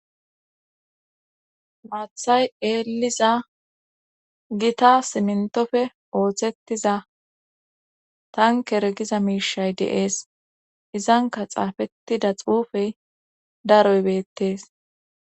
Maathay eeliza gita simintofe ooththettiza tankeregiza miishay deees izanka xaafettida xuufey daroybeettees